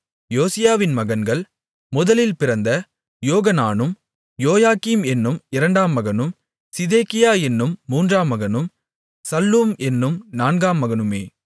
யோசியாவின் மகன்கள் முதலில் பிறந்த யோகனானும் யோயாக்கீம் என்னும் இரண்டாம் மகனும் சிதேக்கியா என்னும் மூன்றாம் மகனும் சல்லூம் என்னும் நான்காம் மகனுமே